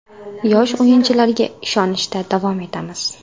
Yosh o‘yinchilarga ishonishda davom etamiz.